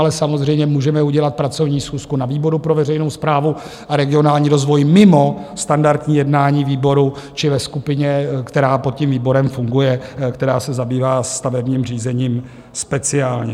Ale samozřejmě můžeme udělat pracovní schůzku na výboru pro veřejnou správu a regionální rozvoj mimo standardní jednání výboru či ve skupině, která pod tím výborem funguje, která se zabývá stavebním řízením speciálně.